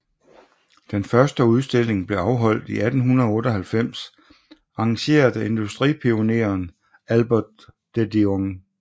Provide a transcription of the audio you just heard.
Den første udstilling blev afholdt i 1898 arrangeret af industripionéeren Albert de Dion